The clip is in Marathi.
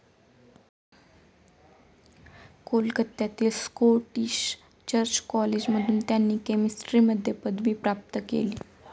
कोलकत्यातील स्कॉटिश चर्च कॉलेजमधून त्यांनी केमिस्ट्रीमध्ये पदवी प्राप्त केली.